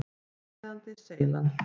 Framleiðandi: Seylan.